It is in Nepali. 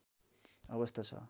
अवस्था छ